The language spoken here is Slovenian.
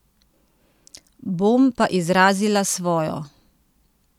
Bom pa izrazila svojo!